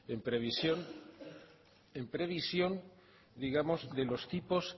en previsión digamos de los tipos